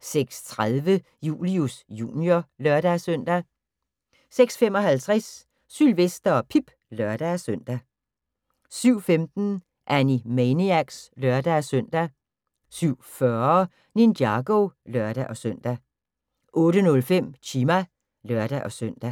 06:30: Julius Jr. (lør-søn) 06:55: Sylvester og Pip (lør-søn) 07:15: Animaniacs (lør-søn) 07:40: Ninjago (lør-søn) 08:05: Chima (lør-søn)